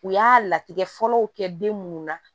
U y'a latigɛ fɔlɔ kɛ den munnu na